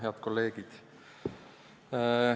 Head kolleegid!